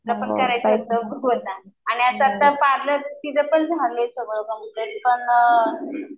करायचं आता तर पार्लर तिजं पण झालंय